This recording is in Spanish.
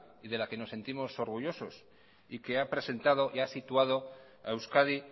y de la que nos sentimos orgullosos y que ha presentado y ha situado a euskadi